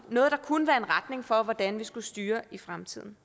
noget der kunne være en retning for hvordan vi skulle styre i fremtiden